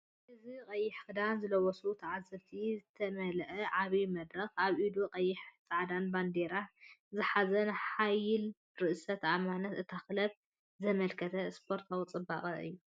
እዚ ቀይሕ ክዳን ዝለበሱ ተዓዘብቲ ዝተመልአ ዓቢ መድረኽ፡ ኣብ ኢዱ ቀይሕን ጻዕዳን ባነር ዝሓዘ። ንሓይልን ርእሰ ተኣማንነትን እታ ክለብ ዘመልክት ስፖርታዊ ጽባቐ እዩ።